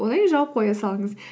одан кейін жауып қоя салыңыз